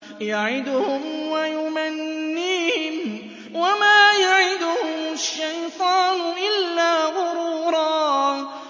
يَعِدُهُمْ وَيُمَنِّيهِمْ ۖ وَمَا يَعِدُهُمُ الشَّيْطَانُ إِلَّا غُرُورًا